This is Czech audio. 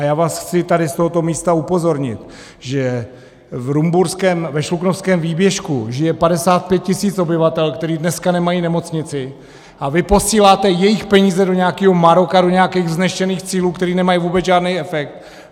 A já vás chci tady z tohoto místa upozornit, že ve Šluknovském výběžku žije 55 tisíc obyvatel, kteří dneska nemají nemocnici, a vy posíláte jejich peníze do nějakého Maroka, do nějakých vznešených cílů, které nemají vůbec žádný efekt.